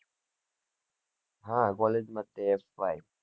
હ college માં છીએ fy